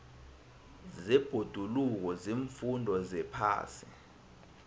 zebhoduluko ziimfundo zephasi